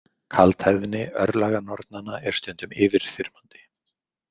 Kaldhæðni örlaganornanna er stundum yfirþyrmandi.